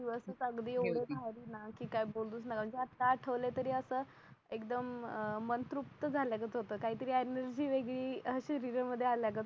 भारी ना की काही बोलूच नका आता आठवल्या तरी अस एकदम मन तृप्त झाल्यागत होत काहीतरी एनर्जी वेगळी आल्या गत होत